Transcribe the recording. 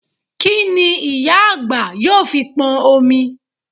Kí n ìyá àgbà yóò fi pọn omi?